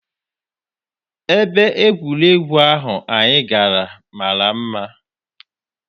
Ebe egwuregwu ahụ anyị gara mara mma.